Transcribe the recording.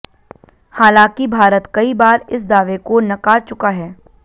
हालांकि भारत कई बार इस दावे को नकार चुका है